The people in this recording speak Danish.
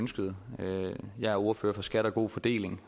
ønskede jeg er ordfører for skat og god fordeling